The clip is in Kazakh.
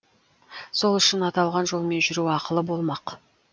сол үшін аталған жолмен жүру ақылы болмақ